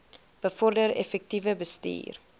bevorder effektiewe bestuur